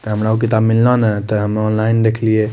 हम रोह किताब मिललो ने ते हम्हू ऑनलाइन देखलिए।